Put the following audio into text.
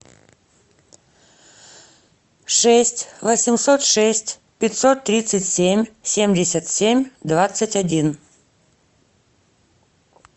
шесть восемьсот шесть пятьсот тридцать семь семьдесят семь двадцать один